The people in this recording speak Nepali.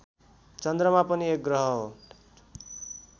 चन्द्रमा पनि एक ग्रह हो